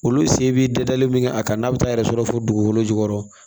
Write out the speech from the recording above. Olu se bi dadalen min kɛ a kan n'a bi taa yɛrɛ sɔrɔ fo dugukolo jukɔrɔ